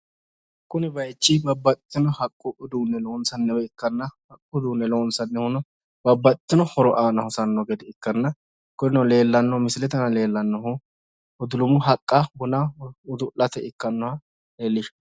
Kuni misilete aana leellanohu haqqu uduune ikkanna kone horonsi'nannihu buna udullate ikkanna ,haqqu udulumira lowo horo noositta xawisano